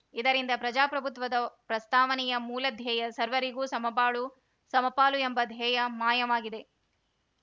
ಇದರಿಂದ ಪ್ರಜಾಪ್ರಭುತ್ವದ ಪ್ರಸ್ತಾವನೆಯ ಮೂಲಧ್ಯೇಯ ಸರ್ವರಿಗೂ ಸಮ ಬಾಳು ಸಮಪಾಲು ಎಂಬ ದ್ಯೇಯ ಮಾಯವಾಗಿದೆ